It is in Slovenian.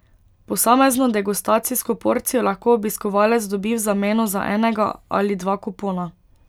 Posamezno degustacijsko porcijo lahko obiskovalec dobi v zameno za enega ali dva kupona.